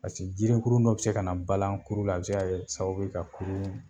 Paseke jirikurun dɔ bi se ka na balalan kurula a bi se kɛ sababu ka kurun